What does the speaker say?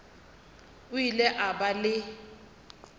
o ile a ba le